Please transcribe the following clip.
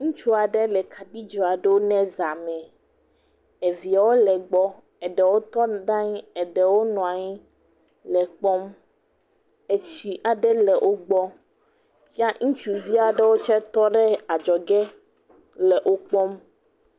Ŋutsua ɖe le kaɖidzoa ɖo na zãme, eviawo le egbɔ, eɖewo tɔ ɖe anyi eɖewo nɔ anyi le kpɔm. Etsi aɖe le wogbɔ ya ŋutsuvi aɖewo tse tɔɖe aɖzɔge le okpɔm.